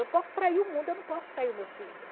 Eu posso trair o mundo, eu não posso trair o meu filho.